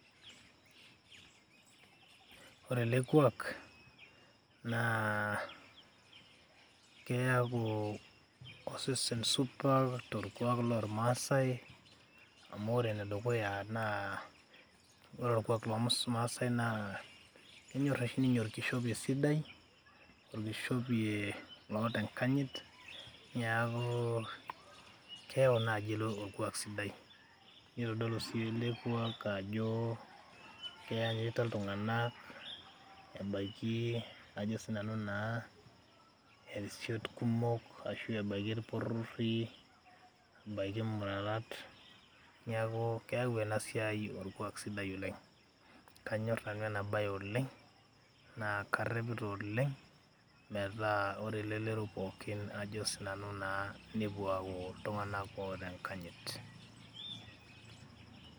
Ore ele kuak naa keyaku osesen supat torkuak lormaasai amu ore entoki e dukuya naa orkuak lormaasai naa kenyor oshi ninye orkishopei sidai, orkishopie loata enkayit, neeku keyau naaji ilo orkuak sidai, nitodolu sii ilo kuak ajo keyanyita iltung'anak ebaiki irisiot kumok ashu ebaiki irporori, ebaiki imurarat. Neeku keyau ena siai orkuak sidai oleng'. Kanyor nanu ena baye oleng' naa karepita oleng' metaa ore elelero pookin ajo sinanu naa nepuo aaku iltung'anak oota enkanyit.